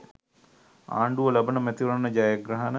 ආණ්ඩුව ලබන මැතිවරණ ජයග්‍රහණ